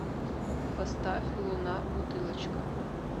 поставь луна бутылочка